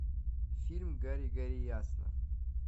фильм гори гори ясно